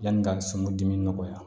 Yanni n ka sungadimi nɔgɔya